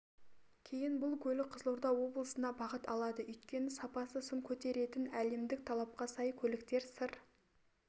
кейін бұл көлік қызылорда облысына бағыт алады өйткені сапасы сын көтеретін әлемдік талапқа сай көліктер сыр